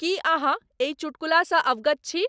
की अहाँ अहि चुटकुला सॅ अवगत छी?